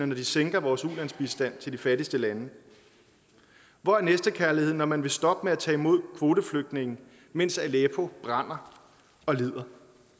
når de sænker vores ulandsbistand til de fattigste lande hvor er næstekærligheden når man vil stoppe med at tage imod kvoteflygtninge mens aleppo brænder og lider